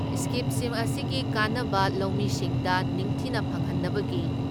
ꯏꯁꯀꯤꯝꯁꯤꯡ ꯑꯁꯤꯒꯤ ꯀꯥꯟꯅꯕ ꯂꯧꯃꯤꯁꯤꯡꯗ ꯅꯤꯡꯊꯤꯅ ꯐꯪꯍꯟꯅꯕꯒꯤ